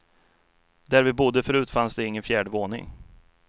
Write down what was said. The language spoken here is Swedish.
Där vi bodde förut fanns det ingen fjärde våning.